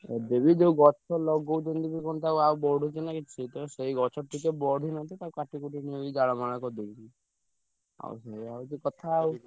ଏବେ ବି ଯୋଉ ଗଛ ଲଗଉଛନ୍ତି ବି ତ କଣ ଆଉ ବଢୁଛି ନା କିଛି। ତେଣୁ ସେଇ ଗଛ ଟିକେ ବଢିଲେ ତ ତାକୁ କାଟିକୁଟି ନେଇକି ଜାଳ ମାଳ କରିଦଉଛନ୍ତି। ଆଉ ସେୟା ହଉଛି କଥା ଆଉ।